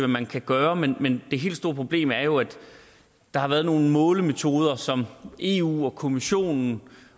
man kan gøre men det helt store problem er jo at der har været nogle målemetoder som eu og kommissionen